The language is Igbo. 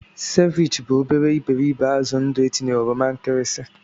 Ceviche bụ obere iberibe azụ ndụ etinye oroma nkirisi.